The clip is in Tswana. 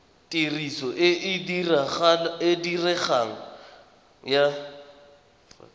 tiriso e e diregang ya